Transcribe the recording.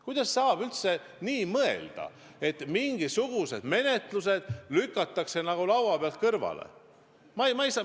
Kuidas saab üldse nii mõelda, et mingisugused menetlused lükatakse laua pealt maha?